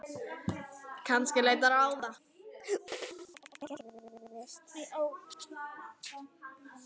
Kannski leita ráða.